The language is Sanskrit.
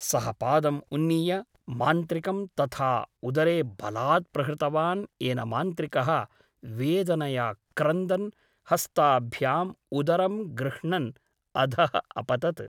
सः पादम् उन्नीय मान्त्रिकं तथा उदरे बलात् प्रहृतवान् येन मान्त्रिकः वेदनया क्रन्दन् हस्ताभ्याम् उदरं गृह्णन् अधः अपतत् ।